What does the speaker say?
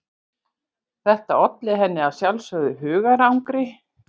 Þetta olli henni að sjálfsögðu hugarangri.